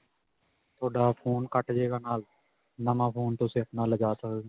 ਤੁਹਾਡਾ phone ਕੱਟ ਜਾਵੇਗਾ, ਨਾਲ ਨਵਾ phone ਤੁਸੀਂ ਆਪਣੇ ਲੈ ਜਾ ਸਕਦੇ ਹੋ.